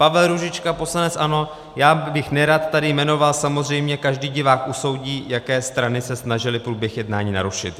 Pavel Růžička, poslanec ANO: Já bych nerad tady jmenoval, samozřejmě, každý divák usoudí, jaké strany se snažily průběh jednání narušit.